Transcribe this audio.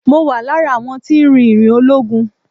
Mo wà láàárín àwọn tí ń rìn ìrìn ológun.